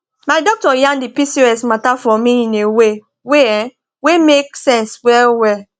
my doctor yan the pcos matter for me in a way way um wey make sense well well